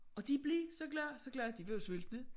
Og de bliver så glade så glade de var jo sultne